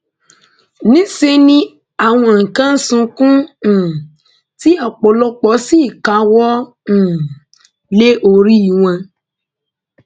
níṣẹ ni àwọn kan ń sunkún um tí ọpọlọpọ sì káwọ um lé orí wọn